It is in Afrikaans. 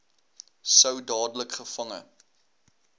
sou dadelik gevange